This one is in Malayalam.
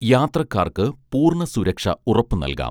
യാത്രക്കാർക്ക് പൂർണസുരക്ഷ ഉറപ്പു നൽകാം